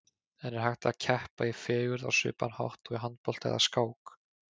En er hægt að keppa í fegurð á svipaðan hátt og í handbolta eða skák?